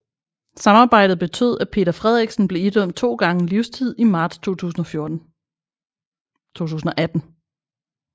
Samarbejdet betød at Peter Frederiksen blev idømt to gange livstid i marts 2018